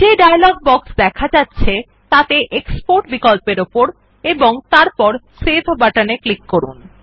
যে dialog box দেখা যাচ্ছে তাতে এক্সপোর্ট বিকল্প উপর এবং তারপর সেভ বাটনে ক্লিক করুন